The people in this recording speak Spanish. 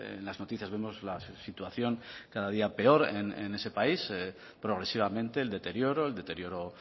en las noticias vemos la situación cada día peor en ese país progresivamente el deterioro el deterioro